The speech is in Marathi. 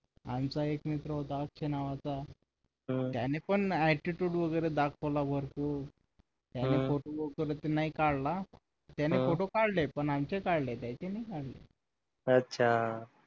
आमचा एक मित्र होता अक्षय नावाचा त्याने पण attitude वगैरे दाखवला भरपूर त्याने photo वगैरे तर नाही काढला त्यांनी photo काढले पण आमचे काढले त्याचे नाही काढले अच्छा